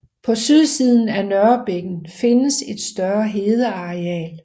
På sydsiden af Nørrebækken findes et større hedeareal